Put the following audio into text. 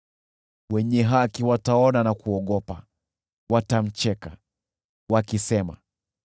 Wenye haki wataona na kuogopa, watamcheka, wakisema,